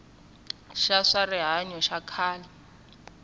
xa swa rihanyo xa khale